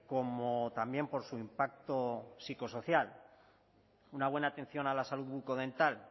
como también por su impacto psicosocial una buena atención a la salud bucodental